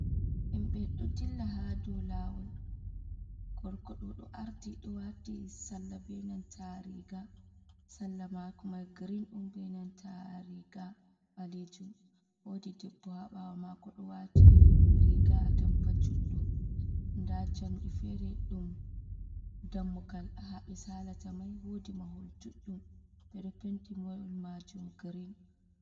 Himɓe ɗo dilla ha do lawol. Gorkoɗo ɗo ardi ɗo wati sarla be nanta riga. Sarla mako mai girin ɗum be nanta riga ɓalejum. Wodi debbo ha ɓawo mako ɗo wati riga atampa juɗɗum, nda jamdi fere ɗon dammugal ha ɓe salata mai wodi mahol duɗɗum ɓe ɗo penti mohol majum girin.